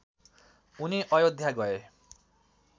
उनी अयोध्या गए